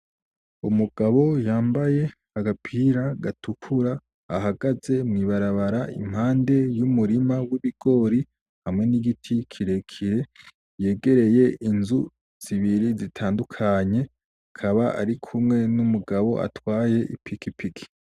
Umugabo yambaye agapira gatukura ahagaze mw'ibarabara impande y'umurima w'ibigori hamwe n'igiti kirekire yegereye inzu zibiri zitandukanye akaba ari kumwe n,umugabo atwaye ipikipiki .